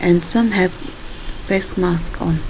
And some have face mask on --